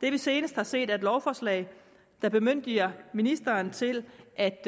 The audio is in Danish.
det vi senest har set er et lovforslag der bemyndiger ministeren til at